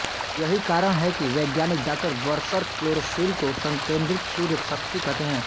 यही कारण है कि वैज्ञानिक डॉ बर्शर क्लोरोफिल को संकेन्द्रित सूर्यशक्ति कहते हैं